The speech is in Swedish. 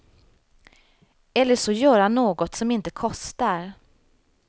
Eller så göra något som inte kostar.